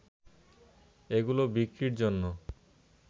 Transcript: এগুলো বিক্রির জন্য